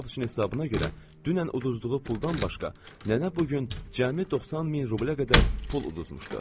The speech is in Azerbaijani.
Pataçıqın hesabına görə dünən uduzduğu puldan başqa, nənə bu gün cəmi 90 min rublə qədər pul uduzmuşdu.